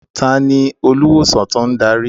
Ta ni olùwòsàn tó ń darí?